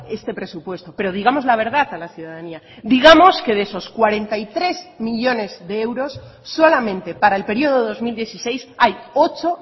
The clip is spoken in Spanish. este presupuesto pero digamos la verdad a la ciudadanía digamos que de esos cuarenta y tres millónes de euros solamente para el periodo dos mil dieciséis hay ocho